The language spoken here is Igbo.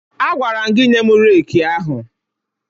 Agwara m gị nye m reeki ahụ!